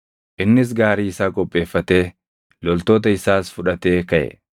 Innis gaarii isaa qopheeffatee, loltoota isaas fudhatee kaʼe.